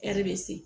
Ɛri bɛ se